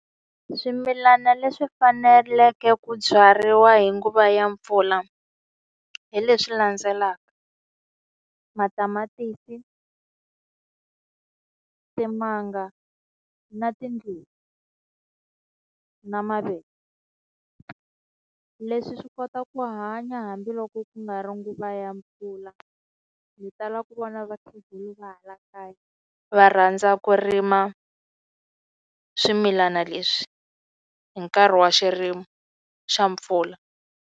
Swimilana leswi faneleke ku byariwa hi nguva ya mpfula hi leswi landzelaka. Matamatisi, timanga na tindluwa na mavele. Leswi swi kota ku hanya hambiloko ku nga ri nguva ya mpfula. Ndzi tala ku vona vakhegula va hala kaya va rhandza ku rima swimilana leswi hi nkarhi wa xirimo xa mpfula.